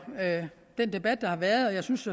den debat der har været jeg synes